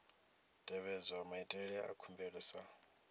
tevhedzwa maitele a khumbelo sa